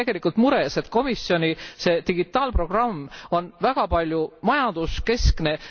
Ma olen tegelikult mures, et komisjoni digitaalprogramm on väga paljuski majanduskeskne.